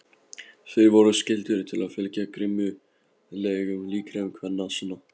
Þeir voru skyldugir til að fylgja grimmúðlegum leikreglum kvenna sinna.